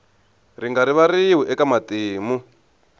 ri nga rivariwi eka matimu